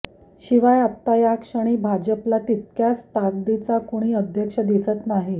शिवाय आत्ता या क्षणी भाजपला तितक्याच ताकदीचा कुणी अध्यक्ष दिसतही नाही